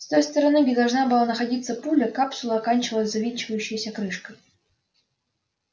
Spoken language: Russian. с той стороны где должна была находиться пуля капсула оканчивалась завинчивающейся крышкой